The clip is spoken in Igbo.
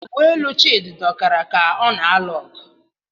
Uwe elu Chidi dọkara ka ọ na-alụ ọgụ.